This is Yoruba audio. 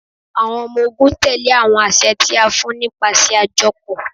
Awọn ọmọ-ogun tẹle awọn aṣẹ ti a fun nipasẹ ajọpọ